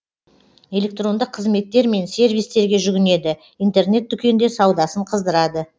электрондық қызметтер мен сервистерге жүгінеді интернет дүкенде саудасын қыздырады